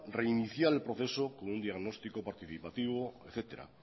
reiniciar el proceso con un diagnóstico participativo etcétera